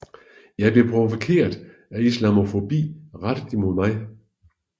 Jeg blev provokeret af islamofobi rettet imod mig